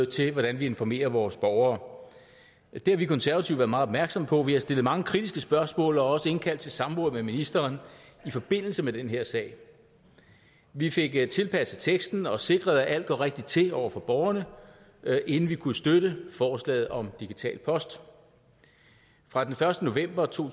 til hvordan vi informerer vores borgere det har vi konservative været meget opmærksomme på vi har stillet mange kritiske spørgsmål og også indkaldt til samråd med ministeren i forbindelse med den her sag vi fik tilpasset teksten og sikret at alt går rigtigt til over for borgerne inden vi kunne støtte forslaget om digital post fra den første november to